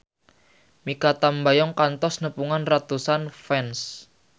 Mikha Tambayong kantos nepungan ratusan fans